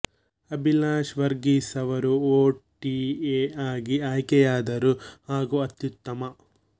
ಅಭಿಲಾಷ್ ವರ್ಗೀಸ್ ಅವರು O T A ಆಗಿ ಆಯ್ಕೆಯಾದರು ಹಾಗೂ ಅತ್ಯುತ್ತಮ